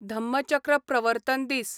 धम्मचक्र प्रवर्तन दीस